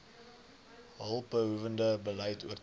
hulpbehoewende beleid oortree